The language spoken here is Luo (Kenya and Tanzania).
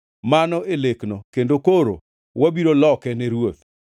“Mano e lekno, kendo koro wabiro loke ne ruoth.